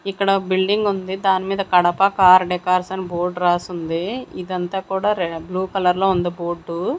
ఇక్కడ బిల్డింగ్ ఉంది దాని మీద కడప కార్ డెకార్స్ అని బోర్డ్ రాసుంది ఇదంతా కూడా బ్లూ కలర్ లో ఉంది బోర్డ్ .